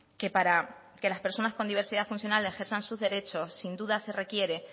que para que las personas con diversidad funcional ejerzan sus derechos sin duda se requiere